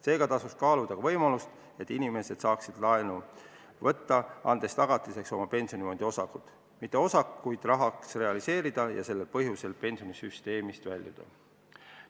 Seega tasuks kaaluda ka võimalust, et inimesed saaksid laenu võtta, andes tagatiseks oma pensionifondi osakuid, jättes osakud rahaks realiseerimata ja pensionisüsteemist väljumata.